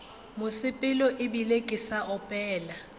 mosepelo ebile ke sa opela